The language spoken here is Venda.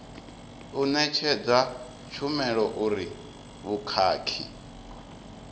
u ṋetshedza tshumelo uri vhukhakhi